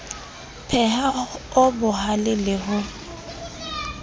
pheha o bohale le ho